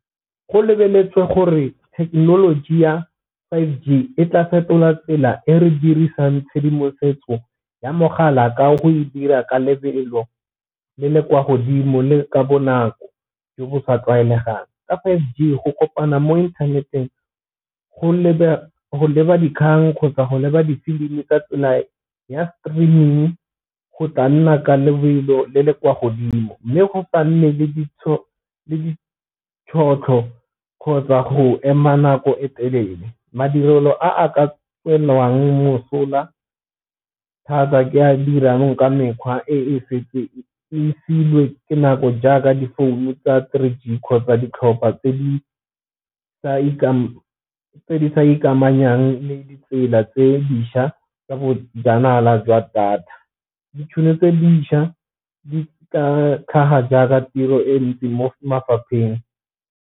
Go lebeletswe gore thekenoloji ya five G e tla fetola tsela e re dirisang tshedimosetso ya mogala ka go e dira ka lebelo le le kwa godimo le ka bonako jo bo sa tlwaelegang, ka five G go kopana mo inthaneteng go leba dikgang kgotsa go leba difilimi ka tsela ya streaming go tla nna ka lebelo le le kwa godimo. Mme go nne le le tšhotlho kgotsa go ema nako e telele, madirelo a ka tswelelang mosola thata ke a dirang ka mekgwa e fa e siilwe nako jaaka difounu tsa three G kgotsa ditlhopha tse di sa ikamanyang le ditsela tse dišwa tsa bojanala jwa data. Ditšhono tse dišwa di ka tlhaga jaaka tiro e ntsi mo mafapheng.